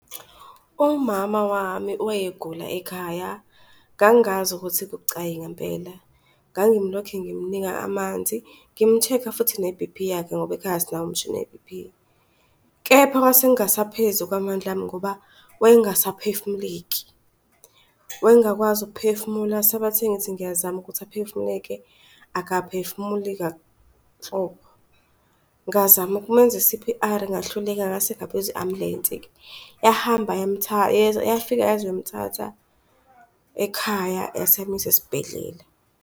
Umama wami wayegula ekhaya. Ngangazi ukuthi kubucayi ngempela, ngangilokhe ngimnika amanzi, ngim-check-a futhi ne-B_P yakhe ngoba ekhaya sinawo umshini we-B_P. Kepha kwase kungasaphezu kwamandla ami ngoba wayengasaphefumuleki. Wayengakwazi ukuphefumula sabathe ngithi ngiyazama ukuthi aphefumuleke akaphefumili kanhlobo ngazama ukumenza i-C_P_R ngahluleka ngase ngabiza i-ambulensi-ke yahamba yafika yazomthatha ekhaya yase yamisa esibhedlela.